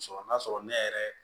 Sɔrɔ n'a sɔrɔ ne yɛrɛ